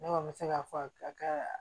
Ne kɔni bɛ se k'a fɔ a ka